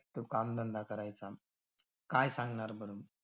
तो कामधंदा करायचा. काय सांगणार बरं?